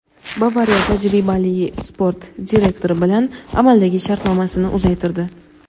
"Bavariya" tajribali sport direktori bilan amaldagi shartnomasini uzaytirdi;.